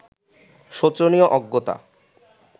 শোচনীয় অজ্ঞতা